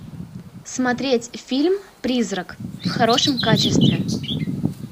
смотреть фильм призрак в хорошем качестве